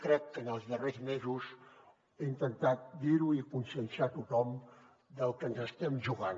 crec que en els darrers mesos he intentat dir ho i conscienciar a tothom del que ens hi estem jugant